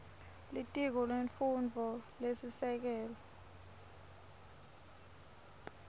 litiko lemfundvo lesisekelo